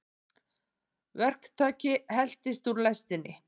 Verktaki heltist úr lestinni